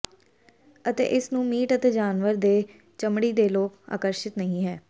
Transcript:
ਅਤੇ ਇਸ ਨੂੰ ਮੀਟ ਅਤੇ ਜਾਨਵਰ ਦੇ ਚਮੜੀ ਦੇ ਲੋਕ ਆਕਰਸ਼ਿਤ ਨਹੀ ਹੈ